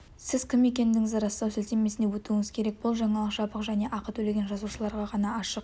сіз кім екендігіңізді растау сілтемесіне өтуіңіз керек бұл жаңалық жабық және ақы төлеген жазылушыларға ғана ашық